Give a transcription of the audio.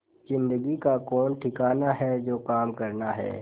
जिंदगी का कौन ठिकाना है जो काम करना है